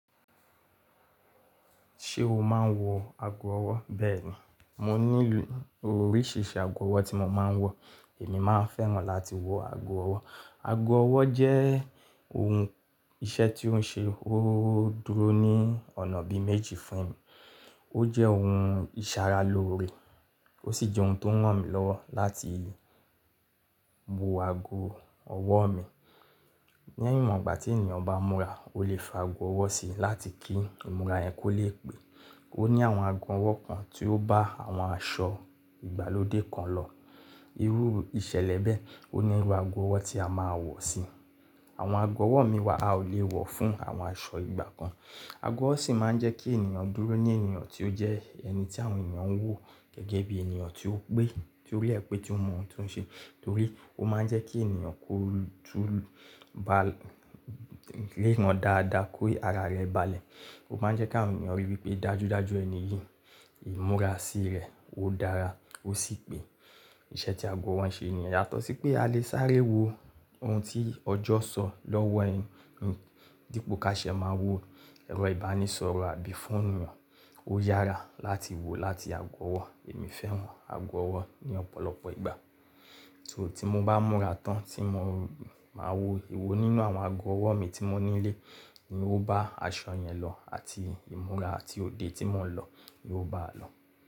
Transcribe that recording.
Ṣé o máa ń wọ ago ọwọ́? Bẹ́ẹ̀ ni, mo ní oríṣiríṣi ago ọwọ́ tí mo máa ń wọ. Èmi máa ń fẹ́ràn láti wọ ago ọwọ́. Ago ọwọ́ jẹ́ ohun iṣẹ́ tí ó ń ṣe, ó dúró ní ọ̀nà bí i méjì fún mi. Ó jẹ́ ohun ìṣaralóore, ó sì jẹ́ ohun tó rán mi lọ́wọ́ láti bu ago ọwọ́ mi. Ní ẹ̀wọ̀n ìgbà tí ènìyàn bá múra, o lè fa ago ọwọ́ sí i láti kí ìmúra yẹn kó lè pé. Ó ní àwọn ago ọwọ́ kan tí ó bá àwọn aṣọ ìgbàlódé kan lọ. Irú ìṣẹ̀lẹ̀ bẹ́ẹ̀, ó ní irú ago ọwọ́ tí a máa wọ̀ sí i. Àwọn ago ọwọ́ mi wa a ò lè wọ̀ fún àwọn aṣọ ìgbà kan. Ago ọwọ́ sì máa ń jẹ́ kí ènìyàn dúró ní ènìyàn tí ó jẹ́ ẹni tí àwọn ènìyàn ń wò gẹ́gẹ́ bí ènìyàn tí ó pé, torí ẹ pé tí ó mọ ohun tí ó ń ṣe, torí ó máa ń jẹ́ kí ènìyàn kó tún bá lé wọn dáadáa kó ara rẹ̀ balẹ̀. Ó máa ń jẹ́ kí àwọn ènìyàn ríi pé dájúdájú ẹni yìí, ìmúra sí rẹ̀, ó dára, ó sì pé. Ìṣe tí ago ọwọ́ ń ṣe ènìyàn yàtọ̀ sí pé a lè sáré wo ohun tí ọjọ́ sọ lọ́wọ́ ẹni, dípò ká ṣe máa wo ẹ̀rọ ìbánisọ̀rọ̀ àbí fóònù wọn. Ó yára láti wò láti ago ọwọ́. Èmi fẹ́ran ago ọwọ́ ní ọ̀pọ̀lọpọ̀ ìgbà. Ṣé ò tí mo bá múra tán tí mo máa wò, èwo nínú àwọn ago ọwọ́ mi tí mo nílé ni ó bá aṣọ yẹn lọ àti ìmúra àti òde tí mò ń lọ ni ó bá lọ.